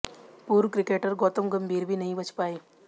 पूर्व क्रिकेटर गौतम गंभीर भी नहीं बच पाए